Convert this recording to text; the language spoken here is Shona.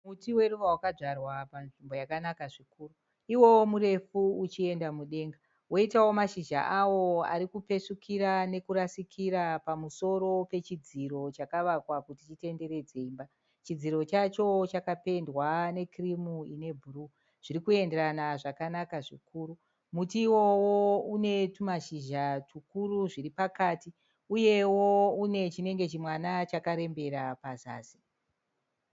Muti weruva wakadzvarwa panzvimbo yakanaka zvikuru. Iwowo murefu uchienda mudenga woitawo mashizha awo arikupesvukira nekurasikira pamusoro pechidziro chakavakwa kuti chitenderedze imba. Chakapendwa nekirimu inebhuruu zvirikuenderana zvakanaka zvikuru. Muti iwowo unetumashizha tukuru zviri pakati. Uyewo une chinenge chimwana chakarembera pazasi.